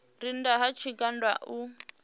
re nnda ha tshigwada u